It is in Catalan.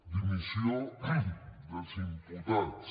dimissió dels imputats